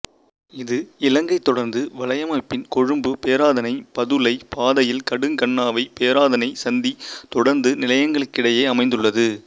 இது இலங்கை தொடருந்து வலையமைப்பின் கொழும்புபேராதனைபதுளை பாதையில் கடுகண்ணாவை பேராதனை சந்தி தொடருந்து நிலையங்களுக்கிடயே அமைந்துள்ளது